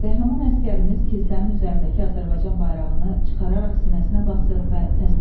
Qəhrəman əsgərimiz kilsənin üzərindəki Azərbaycan bayrağını çıxararaq sinəsinə basır və təslim olur.